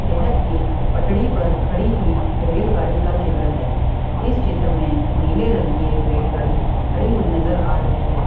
यह एक पटरी पर खड़ी हुई रेलगाड़ी का चित्र है इस चित्र में नीले रंग की एक रेलगाड़ी खड़ी हुई नजर आ रही है।